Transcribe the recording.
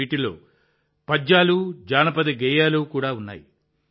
వీటిలో పద్యాలు జానపద గేయాలు కూడా ఉన్నాయి